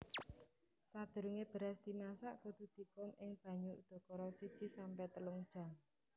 Sadurungé beras dimasak kudu dikum ing banyu udakara siji sampe telung jam